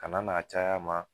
Kana n'a cay'a ma